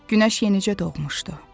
Günəş yenicə doğmuşdu.